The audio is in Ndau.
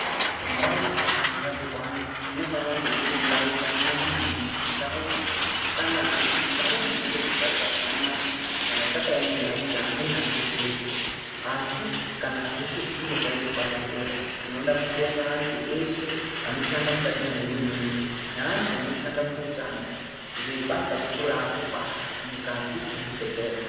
Ndau dzeshe dzinorapirwa antu dzinofana dziri ndau dzakanaka maningi, ndau dzisinganayi, ndau dzinepekugarira pakanaka kana takaemera kuti amweni adetserwe. Asi kana zveshe zvichinge zvaitwa zvapera tinoda kubonga antu eshe anoshanda mukati mwehurumende neantu anoshanda kuutano ngebasa guru raari kubata mukati mwezvibhehleya.